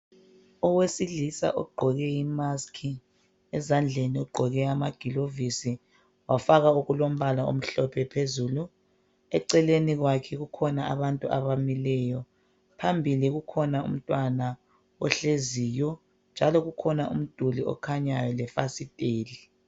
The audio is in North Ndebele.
Owesilisa ogqoke imaski. Ezandleni ugqoke amagilovisi wafaka okulombala omhlophe phezulu. Eceleni kwakhe kukhona abantu abamileyo. Phambili kukhona umntwana ohleziyo, njalo kukhona umduli okhanyayo lefasiteli.